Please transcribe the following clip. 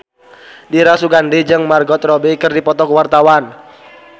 Dira Sugandi jeung Margot Robbie keur dipoto ku wartawan